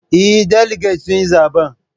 Eh, daliget sun yi zaben